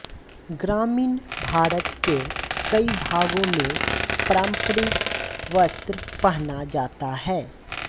ग्रामीण भारत के कई भागों में पारंपरिक वस्त्र पहना जाता है